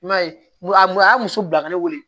I m'a ye a mun y'a muso bila ka ne wele